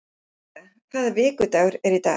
Sera, hvaða vikudagur er í dag?